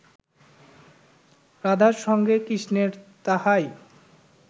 রাধার সঙ্গে কৃষ্ণের তাহাই